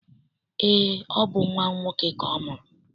Eé, ọ bụ nnwa nwoke ka ọ mụrụ.